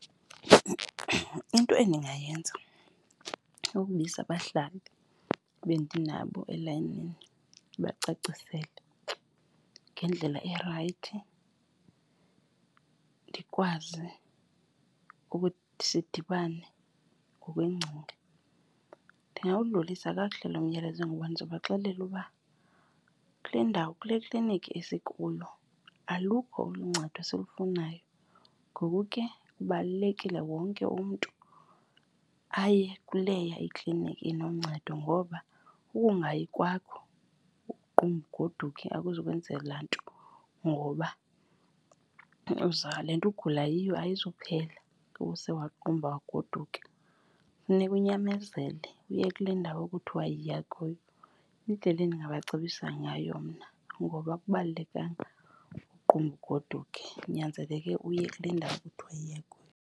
Into endingayenza kukubiza abahlali ebendinabo elayinini ndibacacisele ngendlela erayithi, ndikwazi ukuthi sidibane ngokweengcinga. Ndingawudlulisa kakuhle lo myalezo ngoba ndizawubaxelela uba kule ndawo kule klinikhi esikuyo alukho olu ncedo silufunayo. Ngoku ke kubalulekile wonke umntu aye kuleya ikliniki enonceda. Ngoba ukungayi kwakho uqumbe ugoduke akuzokwenzela nto ngoba kuba le nto ugula yiyo ayizuphela kuba use waqumba wagoduka. Funeka unyamezele uye kule ndawo kuthiwa yiya kuyo. Yindlela endingabacebisa ngayo mna ngoba akubalulekanga ukuqumba ugoduke, kunyanzeleke uye kule ndawo kuthiwa yiya kuyo.